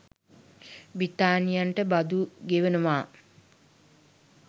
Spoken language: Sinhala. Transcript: බ්‍රිතාන්‍යයන්ට බදු ගෙවනවා